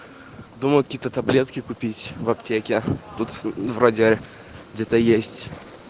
думал какие-то таблетки купить в аптеке тут вроде где-то есть